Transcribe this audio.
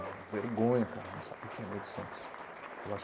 Era uma vergonha, cara, não saber quem era o Milton Santos. Eu acho.